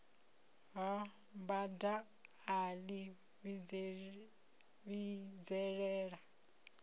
ha bada a ḽi vhidzelela